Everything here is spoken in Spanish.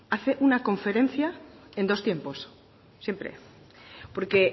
hace una conferencia en dos tiempos siempre porque